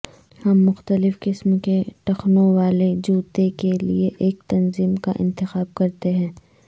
ہم مختلف قسم کے ٹخنوں والے جوتے کے لئے ایک تنظیم کا انتخاب کرتے ہیں